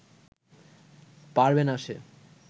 পারবে না সে